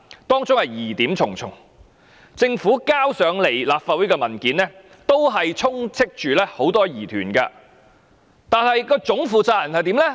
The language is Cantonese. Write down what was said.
當中疑點重重，政府提交到立法會的文件充斥着很多疑團，但總負責人怎樣呢？